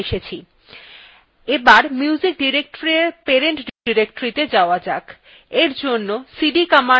এখন music directoryfor parent directoryত়ে যাওয়া যাক for জন্য cd commandfor সাথে dot dot ব্যবহার করতে have